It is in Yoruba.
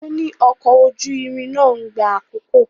Ó ní ọkọ̀ ojú irin náà ń gba àkókò.